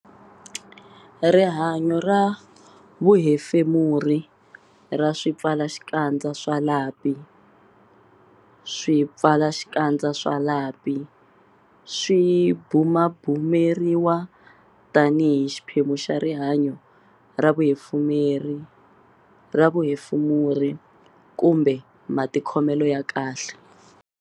Rihanyo ra vuhefemuri ra swipfalaxikandza swa lapi Swipfalaxikandza swa lapi swi bumabumeriwa tanihi xiphemu xa rihanyo ra vuhefemuri kumbe matikhomelo ya kahle.